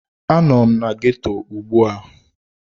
Anọ m na ghetto ugbu a.